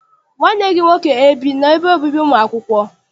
Nwanne gị nwoke ebi n'ebe obibi ụmụ akwụkwọ?